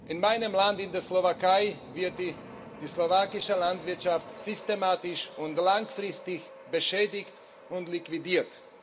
In meinem Land, in der Slowakei, wird die slowakische Landwirtschaft systematisch und langfristig beschädigt und liquidiert.